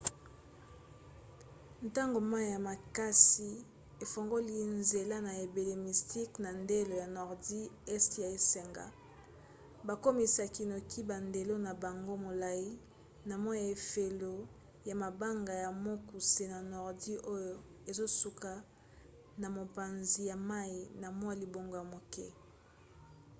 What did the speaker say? ntango mai ya makasi efungoli nzela na ebale mystic na ndelo ya nordi este ya esanga bakomisaki noki bandelo na bango molai na mwa efelo ya mabanga ya mokuse na nordi oyo ezosuka na mopanzi ya mai na mwa libongo ya moke